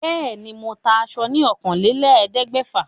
Bẹ́ẹ̀ ni, mò ń ta aṣo ní ọ̀kànlélẹ̀ẹ́dégbèfà.